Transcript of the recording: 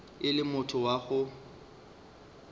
e le motho wa go